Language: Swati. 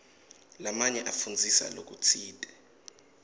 lamanye afundzisa lokutsite